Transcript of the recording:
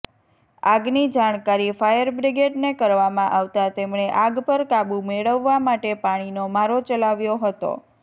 આગની જાણકારી ફાયરબ્રિગેડને કરવામાં આવતાં તેમણે આગ પર કાબુ મેળવવા માટે પાણીનો મારો ચલાવ્યો હતો